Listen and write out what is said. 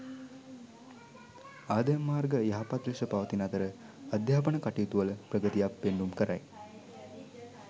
ආදායම් මාර්ග යහපත් ලෙස පවතින අතර අධ්‍යාපන කටයුතුවල ප්‍රගතියක් පෙන්නුම් කරයි.